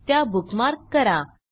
त्या बुकमार्क करा